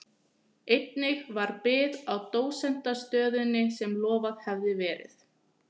Einnig varð bið á dósentsstöðunni sem lofað hafði verið.